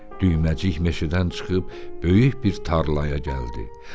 Düyməcik meşədən çıxıb böyük bir tarlaya gəldi.